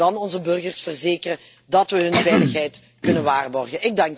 Laten we dan onze burgers verzekeren dat wij hun veiligheid kunnen waarborgen.